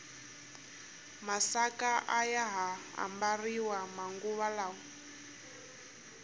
masaka ayaha ambariwa manguva lawa